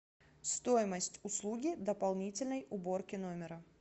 стоимость услуги дополнительной уборки номера